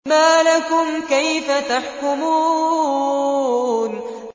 مَا لَكُمْ كَيْفَ تَحْكُمُونَ